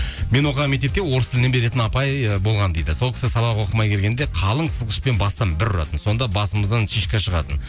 мен оқыған мектепте орыс тілінен беретін апай ы болған дейді сол кісі сабақ оқымай келгенде қалын сызғышпен бастан бір ұратын сонда басымыздан шишка шығатын